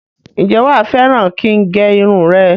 Ǹjẹ́ wá fẹ́ràn kin gé irun rẹ?